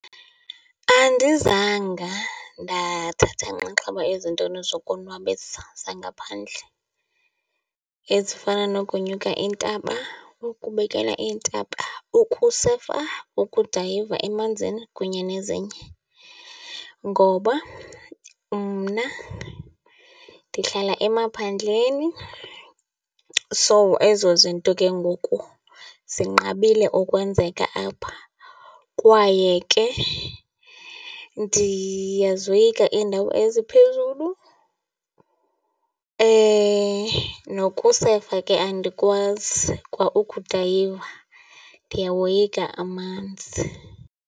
Andizanga ndathatha nxaxheba ezintweni zokonwabisa zangaphandle ezifana nokunyuka iintaba, ukubukela iintaba, ukusefa, ukudayiva emanzini kunye nezinye. Ngoba mna ndihlala emaphandleni, so ezo zinto ke ngoku zinqabile ukwenzeka apha. Kwaye ke ndiyazoyika iindawo eziphezulu nokusefa ke andikwazi kwa ukudayiva, ndiyawoyika amanzi.